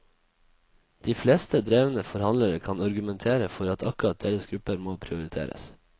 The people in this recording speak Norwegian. De fleste drevne forhandlere kan argumentere for at akkurat deres grupper må prioriteres.